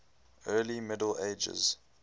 early middle ages